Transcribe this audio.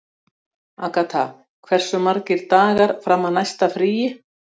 Agatha, hversu margir dagar fram að næsta fríi?